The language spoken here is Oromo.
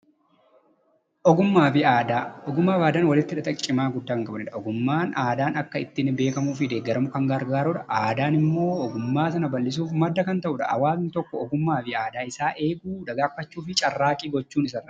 Ogummaafi aadaan walitti hidhata cimaaf guddaa kan qabanidha. Ogummaaf aadaan akka ittiin beekamuufi deeggaramuuf kan gargaaruudha. Aadaan ammoo ogummaa sana bal'isuuf madda kan ta'uudha. Hawaasni tokko ogummaaf aadaa eeguufi dagaagfachuuf carraaqqii gochuun isarraa eegama.